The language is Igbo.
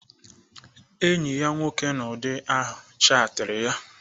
Enyi ya nwoke n'ụdị ahụ chatiri ya